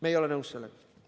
Me ei ole nõus sellega.